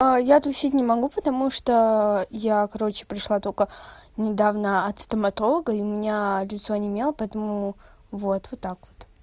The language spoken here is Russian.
я тусить не могу потому что я короче пришла только недавно от стоматолога и меня лицо онемело поэтому вот вот так вот